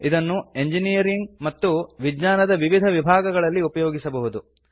ಇದನ್ನು ಎಂಜಿನೀರಿಂಗ್ ಮತ್ತು ವಿಜ್ಞಾನ ದ ವಿವಿಧ ವಿಭಾಗಗಳಲ್ಲಿ ಉಪಯೋಗಿಸಬಹುದು